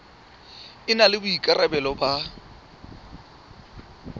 e na le boikarabelo ba